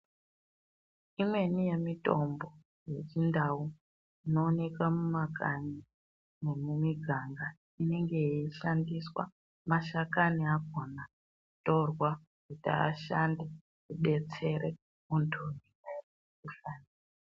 Imweni yemitombo yechindau inowoneka mumakanyi nemumiganga inenge yeishandiswa mashakani akona, kutorwa kuti ashande kudetsere muntu unemukuhlani.